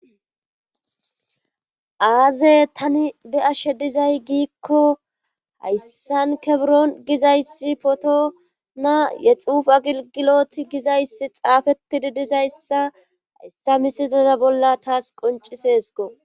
Aaze tani be ashe dizay giikko hayssan keburon gizayssi potona yexufa gigiloti gizayssi xaafeti di dizayssa hayssa misidoza bolla taas qonciseesko.